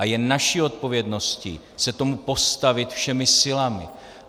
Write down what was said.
A je naší odpovědností se tomu postavit všemi silami.